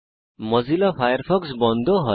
Mozilla Firefox বন্ধ হয়